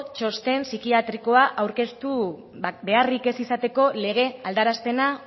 txosten psikiatrikoa aurkeztu beharrik ez izateko lege aldarapena